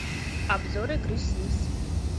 обзор игры симс